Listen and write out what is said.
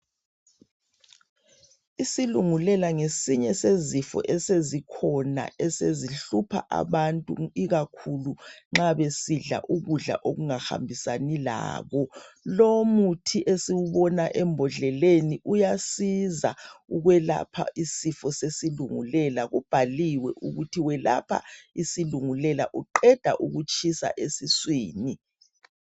Isilungulela ngesinye sezifo esezikhona esezihlupha abantu ikakhulu nxa besidla ukudla okungahambisani labo. Lowu umuthi esiwubona embodleleni uyasiza ukwelapha isifo sesilungulela ubhaliwe ukuthi welapha isilungulela uqeda ukutshisa esiswini.